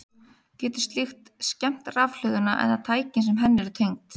Getur slíkt skemmt rafhlöðuna eða tæki sem henni eru tengd?